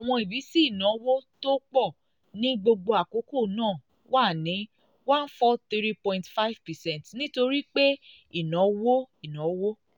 ìwọ̀n ìbísí ìnáwó tó pọ̀ ní gbogbo àkókò náà wà ní one four three point five percent nítorí pé ìnáwó ìnáwó